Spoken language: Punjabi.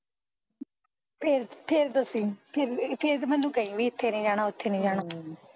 ਫੇਰ ਫੇਰ ਦੱਸੀ ਫੇਰ ਮੈਂਨੂੰ ਕਹਿ ਇੱਥੇ ਨੀ ਜਾਣਾ ਉੱਥੇ ਨੀ ਜਾਣਾ ਅਮ